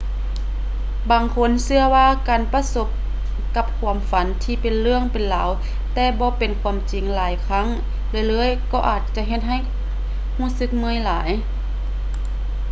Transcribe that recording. ບາງຄົນເຊື່ອວ່າການປະສົບກັບຄວາມຝັນທີ່ເປັນເລື່ອງເປັນລາວແຕ່ບໍ່ເປັນຄວາມຈິງຫຼາຍຄັ້ງເລື້ອຍໆກໍອາດຈະເຮັດໃຫ້ຮູ້ສຶກເມື່ອຍຫຼາຍ